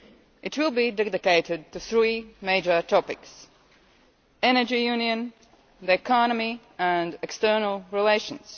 It will be dedicated to three major topics the Energy Union, the economy and external relations.